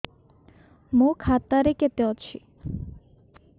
ମୋ ଖାତା ରେ କେତେ ଅଛି